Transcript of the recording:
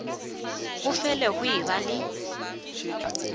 go fele go eba le